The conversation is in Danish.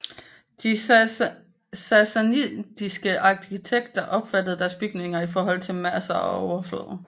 De sassanidiske arkitekter opfattede deres bygninger i forhold til masser og overflader